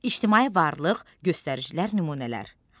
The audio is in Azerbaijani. İctimai varlıq göstəricilər nümunələr.